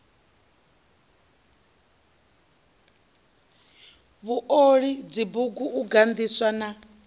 vhuoli dzibugu u gandisa na